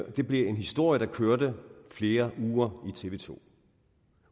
og det blev en historie der kørte flere uger i tv to